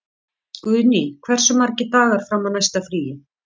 Guðný, hversu margir dagar fram að næsta fríi?